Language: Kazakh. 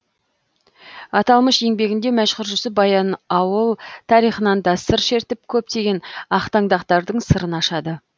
аталмыш еңбегінде мәшһүр жүсіп баянаула тарихынан да сыр шертіп көптеген ақтаңдақтардың сырын ашады